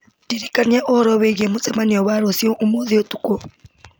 ndirikania ũhoro wĩgiĩ mũcemanio wa rũciũ ũmũthĩ ũtukũ